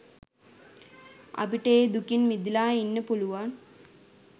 අපිට ඒ දුකින් මිදිලා ඉන්න පුලුවන්.